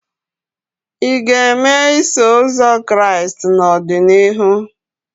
Ị ga-eme Iso Ụzọ Kraịst n'ọdịnihu?